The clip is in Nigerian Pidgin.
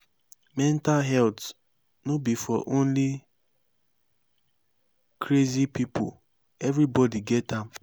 mental health no be for only crazy pipo everybody get am